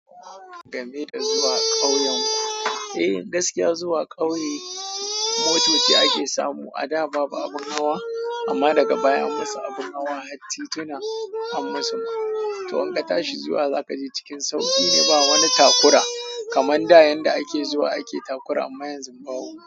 Game da zuwa ƙauyenku, eh gaskiya zuwa ƙauye motoci ake samu. A da babu abin hawa amma daga baya an musu abin hawa, har titina an musu ma. To in ka tashi zuwa zaka je cikin sauƙi ne ba wani takura kaman da yanda ake zuwa ake takura amma yanzu babu.